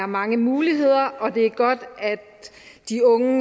mange muligheder og det er godt at de unge